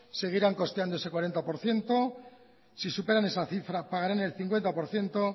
seguirán costeándose cuarenta por ciento si superan esa cifra pagarán el cincuenta por ciento